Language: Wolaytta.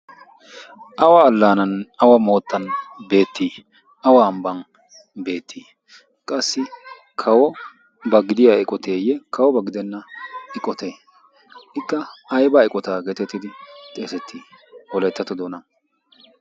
awa allaanan awa moottan beettii? awa ambban beettii? qassi kawo ba gidiya eqoteeyye? kawo ba gidenna eqotee? ikka aibaa eqotaa geetettidi xeesettii holeettato doona?